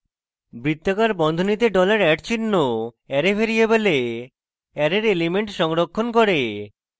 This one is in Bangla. বৃত্তাকার বন্ধনীতে dollar @চিহ্ন array ভ্যারিয়েবলে অ্যারের elements সংরক্ষণ করে